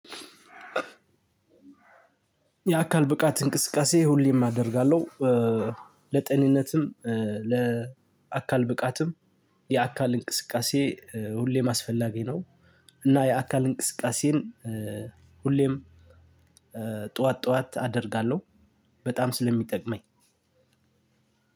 የአካል ብቃት እንቅስቃሴ ሁሌም አደርጋለሁ። ለጤንነትም ለአካል ብቃትም የአካል እንቅስቃሴ ሁሌም አስፈላጊ ነው። እና የአካል እንቅስቃሴን ሁሌም ጠዋት ጠዋት አደርጋለሁ። በጣም ስለሚጠቅመኝ።